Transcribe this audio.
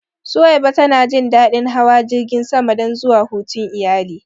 Suwaiba ta na jin daɗin hawa jirgin sama don zuwa hutun iyali